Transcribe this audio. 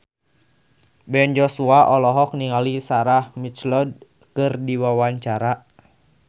Ben Joshua olohok ningali Sarah McLeod keur diwawancara